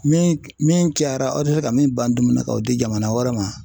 Min min cayara aw tɛ se ka min ban dumuni na k'o di jamana wɛrɛ ma .